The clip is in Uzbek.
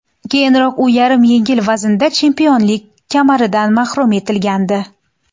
Keyinroq u yarim yengil vaznda chempionlik kamaridan mahrum etilgandi .